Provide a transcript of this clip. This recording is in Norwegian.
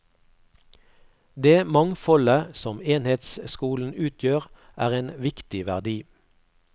Det mangfoldet som enhetsskolen utgjør, er en viktig verdi.